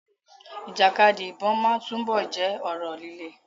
Ìjàkadì ìbọn máa túbọ̀ jẹ́ ọ̀rọ̀ líle.